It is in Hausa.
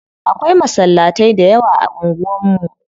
Akwai masallatai da yawa a unguwan mu.